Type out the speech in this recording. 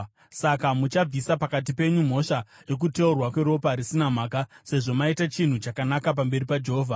Saka muchabvisa pakati penyu mhosva yokuteurwa kweropa risina mhaka sezvo maita chinhu chakanaka pamberi paJehovha.